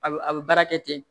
A bɛ a bɛ baara kɛ ten